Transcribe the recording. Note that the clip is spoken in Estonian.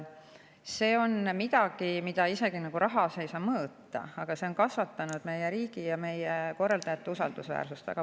See on midagi, mida rahas isegi ei saa mõõta, aga see on väga palju kasvatanud meie riigi ja meie korraldajate usaldusväärsust.